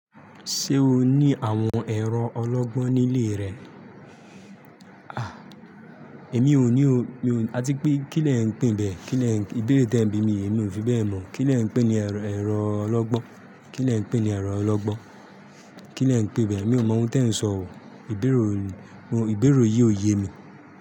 Ṣé o ní àwọn ẹ̀rọ ọlọ́gbọ́n nílé rẹ? Èmi ò ní o, mi ò àti pé kí lẹ ń pè bẹ́ẹ̀? Kí lẹ ń ìbéèrè tí ẹ̀ ń bi mi yìí èmi ò fi bẹ́ẹ̀ mọ̀. Kí lẹ ń pè ni ẹ̀rọ ọlọ́gbọ́n. Kí lẹ ń pè ni ẹ̀rọ ọlọ́gbọ́n? Kí lẹ ń pè bẹ́ẹ̀? Mi ò mọ ohun tí ẹ ń sọ ò. Ìbẹ̀rẹ̀ ò, ìbẹ̀rẹ̀ yìí ò yé mi.